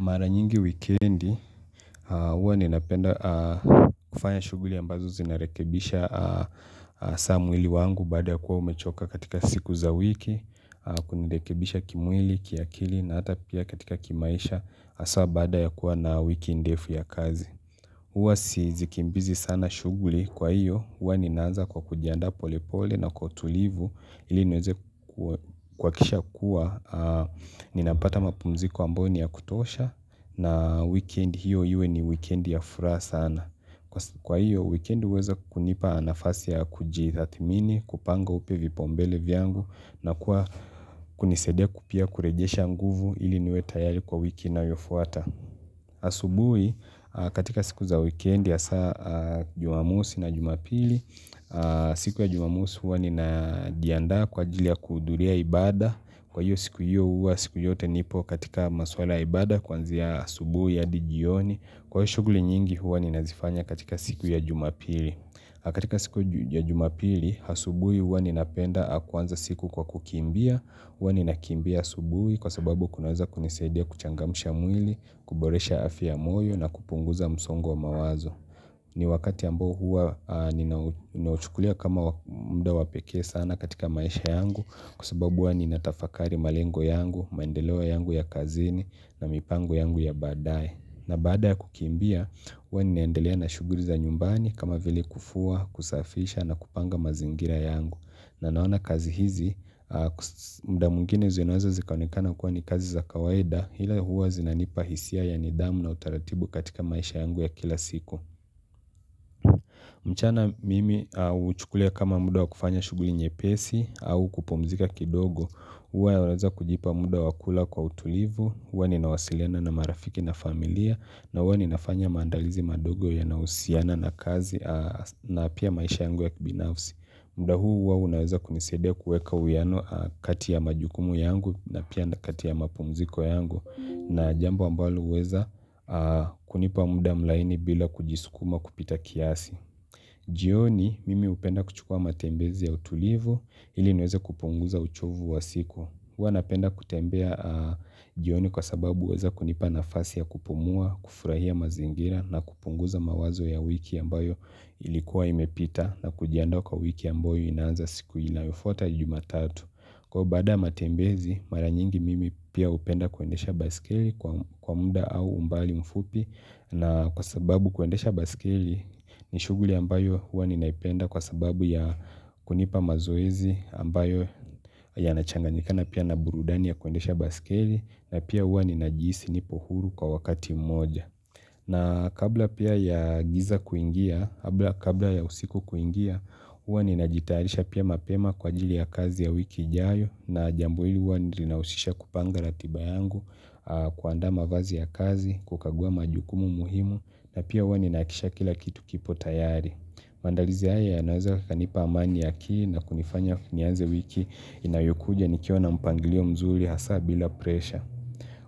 Mara nyingi wikendi, huwa ninapenda kufanya shughuli ambazo zinarekebisha hasa mwili wangu baada ya kuwa umechoka katika siku za wiki, kundekebisha kimwili, kiakili na hata pia katika kimaisha hasa baada ya kuwa na wiki ndefu ya kazi. Uwa si zikimbizi sana shughuli, kwa hiyo huwa ninaanza kwa kujiandaa pole pole na kwa utulivu iliniweze kuakisha kuwa ninapata mapumziko ambayo niya kutosha na wikendi hiyo iwe ni wikendi ya furaha sana. Kwa hiyo weekend uweza kunipa nafasi ya kujitathimini, kupanga upya vipaumbele vyangu na kuwa kunisaidia ku pia kurejesha nguvu iliniwe tayari kwa wiki inayofuata. Asubui katika siku za wikendi hasa jumamosi na jumapili siku ya jumamosi huwa nina jianda kwa ajili ya kuhudhuria ibaada. Kwa hiyo siku hiyo huwa siku yote nipokatika maswala ya ibaada kwanzia asubui hadi jioni. Kwa hiyo shughuli nyingi huwa ninazifanya katika siku ya jumapili katika siku ya jumapili asubui huwa ninapenda kwanza siku kwa kukimbia. Huwa ninakimbia asubuhi kwa sababu kunaweza kunisaidia kuchangamusha mwili, kuboresha afya ya moyo na kupunguza msongo wa mawazo. Ni wakati ambao huwa ninauchukulia kama muda wapekee sana katika maisha yangu, kwa sababu huwa ninatafakari malengo yangu, maendeleo yangu ya kazini na mipango yangu ya baadae. Na baada ya kukimbia, huwa ninaendelea na shughuli za nyumbani kama vile kufua, kusafisha na kupanga mazingira yangu. Na naona kazi hizi, muda mwingine zinaweza zikaonekana kuwa ni kazi za kawaida, hila huwa zinanipahisia ya nidhamu na utaratibu katika maisha yangu ya kila siku. Mchana mimi uhuchukulia kama muda wakufanya shughuli nyepesi au kupumzika kidogo, huwa naweza kujipa muda wakula kwa utulivu, huwa ninawasiliana na marafiki na familia, na huwa ninafanya mandalizi madogo yanausiana na kazi na pia maisha yangu ya kibinafsi. Muda huu huwa unaweza kunisaidia kuweka uwiano kati ya majukumu yangu na pia na kati ya mapumziko yangu na jambo ambalo uweza kunipa muda mlaini bila kujisukuma kupita kiasi. Jioni mimi upenda kuchukua matembezi ya utulivu iliniweze kupunguza uchovu wa siku. Huwa napenda kutembea jioni kwa sababu uweza kunipa nafasi ya kupumua, kufurahia mazingira na kupunguza mawazo ya wiki ambayo ilikuwa imepita na kujiandaa kwa wiki ambayo inaanza siku inayofuata jumatatu. Kwa baada ya matembezi mara nyingi mimi pia upenda kuendesha baisikeili kwa muda au umbali mfupi na kwa sababu kuendesha basikeli ni shughuli ambayo huwa ninaipenda kwa sababu ya kunipa mazoezi ambayo yanachanganikana pia na burudani ya kuendesha basikili na pia hua ninajiisi nipohuru kwa wakati moja. Na kabla pia ya giza kuingia, kabla ya usiku kuingia, huwa ninajitarisha pia mapema kwa jili ya kazi ya wiki ijayo na jambo ili huwa ni linausisha kupanga ratiba yangu, kuandaa mavazi ya kazi, kukagua majukumu muhimu, na pia uwa ninaakisha kila kitu kipo tayari. Maandalizi haya yanaweza kanipa amani ya kii na kunifanya nianze wiki inayokuja nikiwa na mpangilio mzuli hasa bila presha.